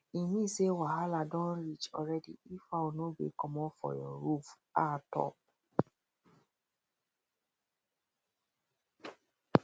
e mean say wahalah don reach already if fowl no gree comot for your roof um top